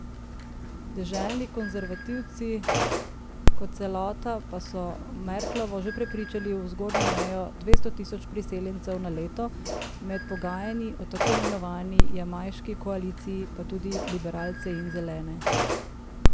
Deželni konservativci kot celota pa so Merklovo že prepričali v zgornjo mejo dvesto tisoč priseljencev na leto, med pogajanji o tako imenovani jamajški koaliciji pa tudi liberalce in Zelene.